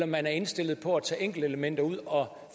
man er indstillet på at tage enkeltelementer ud og